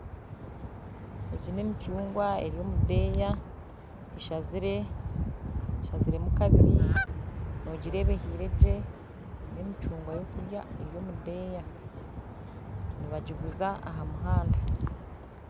Egi n'emicungwa eri omu deeya eshazire eshaziremu kabiri noogireeba ehiire gye n'emicungwa yokurya eri omudeeya nibagiguza ahamuhanda